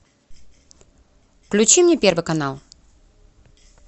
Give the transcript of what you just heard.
включи мне первый канал